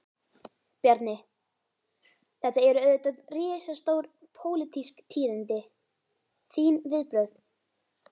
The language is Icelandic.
Bjarni, þetta eru auðvitað risastór, pólitísk tíðindi, þín viðbrögð?